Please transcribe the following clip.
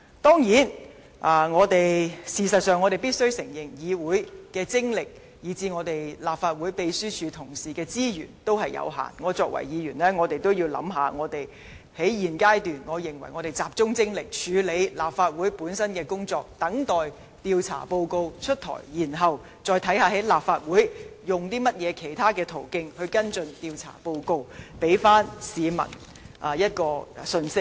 當然，事實上，我們必須承認議會的精力以至立法會秘書處同事的資源有限，身為議員，在現階段，我認為我們應集中精力處理立法會本身的工作，等待調查報告公布，再看看在立法會用甚麼其他途徑跟進調查報告，給予市民信息。